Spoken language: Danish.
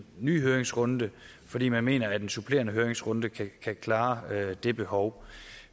ny høringsrunde fordi man mener at en supplerende høringsrunde kan kan klare det behov